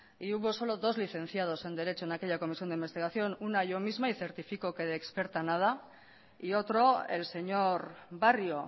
y hubo solo dos licenciados de derecho en aquella comisión de investigación una yo misma y certifico que de experta nada y otro el señor barrio